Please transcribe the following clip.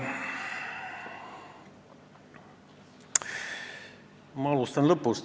Ma alustan lõpust.